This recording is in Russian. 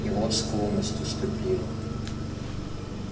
и вот склонность уступила